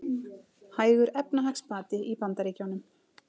Hægur efnahagsbati í Bandaríkjunum